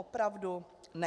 Opravdu ne!